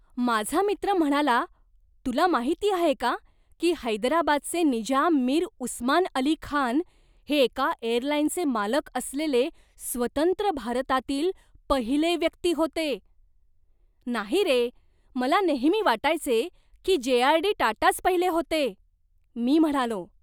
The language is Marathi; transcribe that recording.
माझा मित्र म्हणाला, तुला माहिती आहे का, की हैदराबादचे निजाम मीर उस्मान अली खान हे एका एअरलाईनचे मालक असलेले स्वतंत्र भारतातील पहिले व्यक्ती होते! "नाही रे! मला नेहमी वाटायचे की जे.आर.डी. टाटाच पहिले होते", मी म्हणालो.